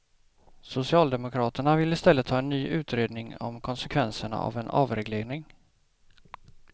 Socialdemokraterna vill i stället ha en ny utredningen om konsekvenserna av en avreglering.